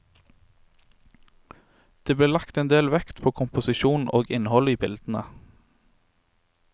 Det ble lagt en del vekt på komposisjon og innhold i bildene.